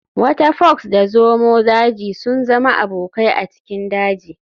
Wata fox da zomo daji sun zama abokai a cikin daji.